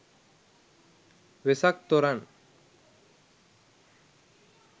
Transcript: wesak thoran